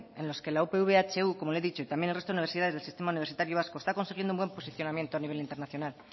en los que la upv ehu como le he dicho y también el resto de universidades del sistema universitario vasco está consiguiendo un buen posicionamiento a nivel internacional